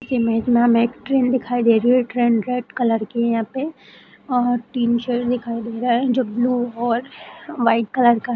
इस इमेज में हमें ट्रेन दिखाई दे रही है ट्रेन रेड कलर की है यहाँ पे और टीन शेड दिखाई दे रहा है जो ब्लू और वाइट कलर का --